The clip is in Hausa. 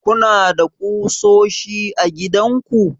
kuna da ƙusoshi a gidanku?